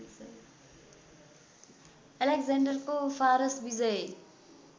अलेक्जेन्डरको फारस विजय